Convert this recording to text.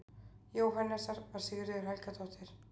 Jóhannesar, var Sigríður Helgadóttir.